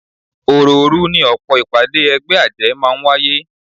Òròòru ni ọ̀pọ̀ ìpàdé ẹgbẹ́ àjẹ́ máa ń wáyé